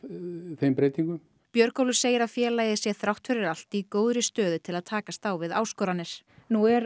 þeim breytingum Björgólfur segir að félagið sé þrátt fyrir allt í góðri stöðu til að takast á við áskoranir nú er